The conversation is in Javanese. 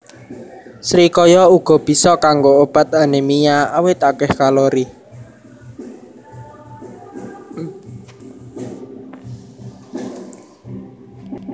Srikaya uga bisa kanggo obat anémia awit akéh kalori